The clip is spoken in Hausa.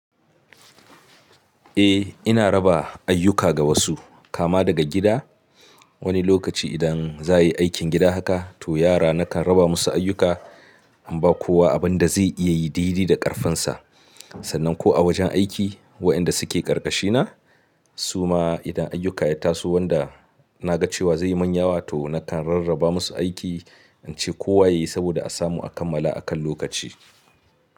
Eh ina raba ayyuka ga wasu kama daga gida. Wani lokaci idan za a yi aikin gida haka to yara na kan raba musu ayyuka, in ba kowa abin da zai iya yi daidai da ƙarfinsa. Sannan ko a wajen aiki waɗanda suke ƙarƙashina su ma idan ayyuka ya taso wanda na ga cewa zai yi manyawa to na kan rarraba musu aiki, in ce kowa ya yi saboda a samu a kammala a kan lokaci.